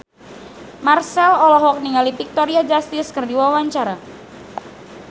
Marchell olohok ningali Victoria Justice keur diwawancara